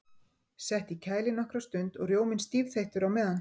Sett í kæli nokkra stund og rjóminn stífþeyttur á meðan.